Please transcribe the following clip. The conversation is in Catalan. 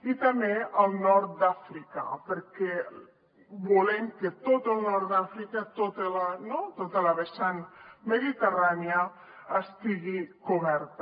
i també el nord d’àfrica perquè volem que tot el nord d’àfrica tota la vessant mediterrània estigui coberta